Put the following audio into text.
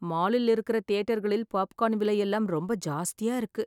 மாலில் இருக்க தியேட்டர்களில் பாப்கார்ன் விலை எல்லாம் ரொம்ப ஜாஸ்தியா இருக்கு